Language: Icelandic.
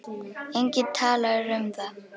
Enginn talar um það.